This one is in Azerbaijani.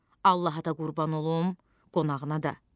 Allaha da qurban olum, qonağına da.